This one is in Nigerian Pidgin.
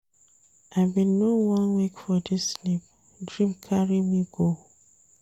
I bin no wan wake for dis sleep, dream carry me go.